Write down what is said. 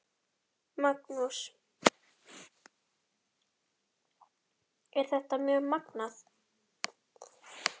Magnús: Er þetta mjög magnað?